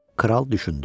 Kral düşündü.